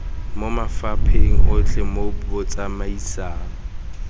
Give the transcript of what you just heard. mo mafapheng otlhe mo botsamaisng